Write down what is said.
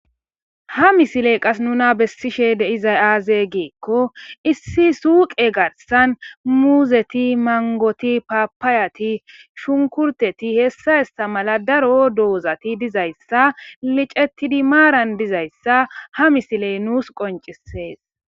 Ha misile qas nuna besishe de'izay azze giko issi suyqe gathan muuzeti mangoti papayati ahunkurteti hesa hesa mala daro doozati dizayssa micetidi maarara dizayssa ha misiley nuus qoncisees.